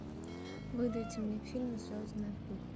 выдайте мне фильм звездная пыль